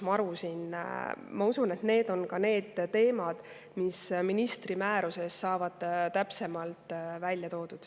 Ma usun, et need on ka need teemad, mis ministri määruses saavad täpsemalt välja toodud.